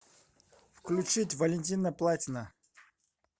включить валентина платина